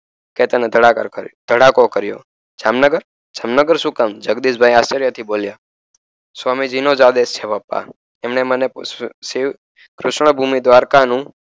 કેતને ધડાકો કરીયો જામનગર જામનગર શું કામ જગદીશ ભાઈ બોલિયાં સ્વામી જી નો જ આદેશ છે તૃષ્ણા ભૂમિ દ્ધાવકા નું